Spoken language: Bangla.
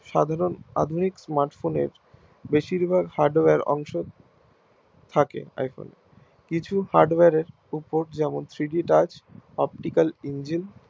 সাধারণ আধুনিক Smartphone এর বেশির ভাগ Hardware অংশ থাকে থাকে এখন কিছু Hardware এর উপর যেমন Three D type optical engine